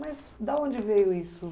Mas da onde veio isso?